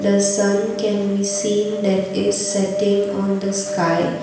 the sun can be seen that is setting on the sky.